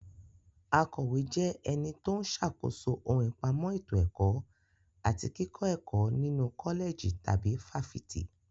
Akọ̀wé jẹ́ ẹni tó ń ṣàkóso ohun ìpamọ́ ètò ẹ̀kọ́ àti kíkọ́ ẹ̀kọ́ nínu kọ́lẹ̀jì tàbí fáfitì.